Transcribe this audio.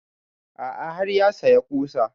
A'a har ya saya ƙusa